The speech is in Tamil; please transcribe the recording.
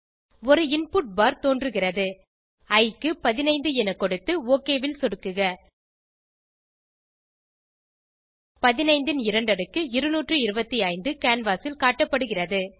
ஒரு இன்புட் பார் தோன்றுகிறது இ க்கு 15 என கொடுத்து ஒக் ல் சொடுக்குக 15 ன் இரண்டடுக்கு 225 கேன்வாஸ் ல் காட்டப்படுகிறது